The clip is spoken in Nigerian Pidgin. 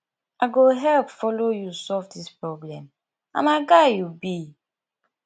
i go help follow you solve this problem na my guy you be